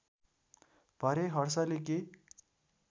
भरेँ हर्षेले के